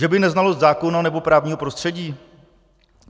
Že by neznalost zákona nebo právního prostředí?